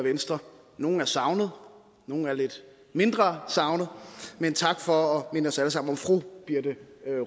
venstre nogle er savnet nogle er lidt mindre savnet men tak for at minde os alle sammen om fru birthe